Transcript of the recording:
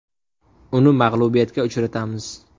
Uni mag‘lubiyatga uchratamiz.